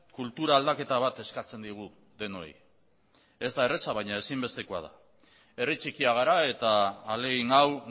kultura aldaketa bat eskatzen digu denoi ez da erreza baina ezinbestekoa da herri txikia gara eta ahalegin hau